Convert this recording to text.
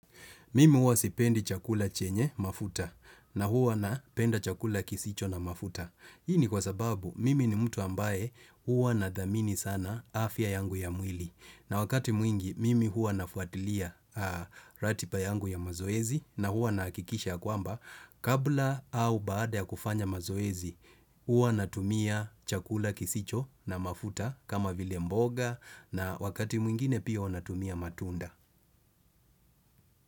Mimi huwa sipendi chakula chenye mafuta na huwa napenda chakula kisicho na mafuta. Hii ni kwa sababu mimi ni mtu ambaye huwa nadhamini sana afya yangu ya mwili. Na wakati mwingi, mimi huwa nafuatilia ratipa yangu ya mazoezi na huwa nahakikisha kwamba. Kabla au baada ya kufanya mazoezi, huwa natumia chakula kisicho na mafuta kama vile mboga na wakati mwingine pia huwa na tumia matunda.